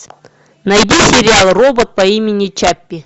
найди сериал робот по имени чаппи